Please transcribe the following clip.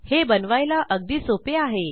हे बनवायला अगदी सोपे आहे